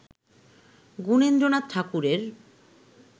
গুণেন্দ্রনাথ ঠাকুরের